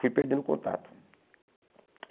Fui perdendo o contato.